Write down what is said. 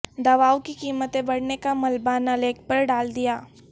دوائوں کی قیمتیں بڑھنے کا ملبہ ن لیگ پر ڈال دیا